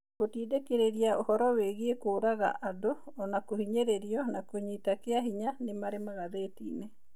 Gũtindĩkĩrĩria ũhoro wĩgiĩ kũũraga andũ o na kũhinyĩrĩrio na kũnyitana kĩa hinya ni marĩ magathĩtĩĩnĩ.